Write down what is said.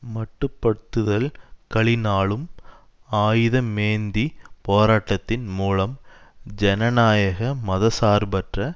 மட்டுப்பட்டுதல் களினாலும் ஆயுத மேந்தி போராட்டத்தின் மூலம் ஜனநாயக மத சார்பற்ற